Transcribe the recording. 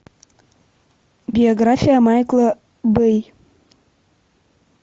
биография майкла бэй